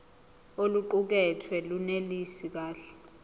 oluqukethwe lunelisi kahle